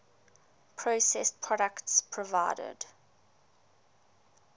processed products provided